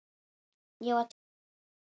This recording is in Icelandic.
Ég var tekinn inn.